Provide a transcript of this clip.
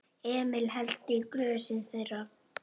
Emil hellti í glösin þeirra.